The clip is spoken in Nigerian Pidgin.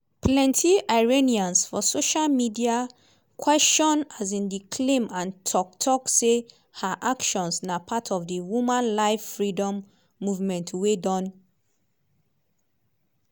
plenti iranians for social media question um di claim and tok tok say her actions na part of di “woman life freedom” movement wey don